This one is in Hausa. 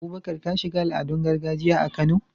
Abubakar, ka shiga al'adun gargajiya a Kano.